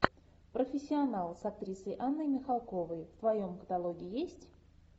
профессионал с актрисой анной михалковой в твоем каталоге есть